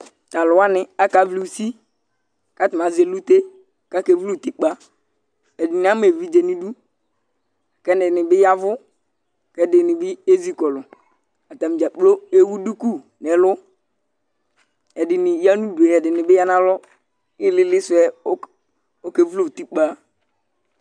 T'alʋwani aka wli usi, k'atani azɛ elute k'ak'evl'utikpa Ɛdini azɛ evidze n'idu, k'ɛdini bi yavʋ, k'ɛdini bi ezikɔlʋ Atani dzaa kplo ewu duku n'ɛlʋ, ɛdini bi ya n'udu, ɛdini bi ya n'alɔ, ilili sie oke wlu utikpa